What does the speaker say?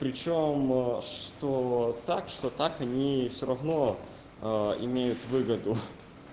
при чём а что так что так они всё равно имеют выгоду